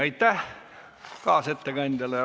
Aitäh kaasettekandjale!